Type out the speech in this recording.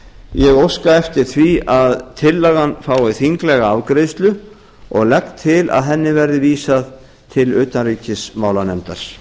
ég óska eftir því að tillagan fái þinglega afgreiðslu og legg til að henni verði vísað til utanríkismálanefndar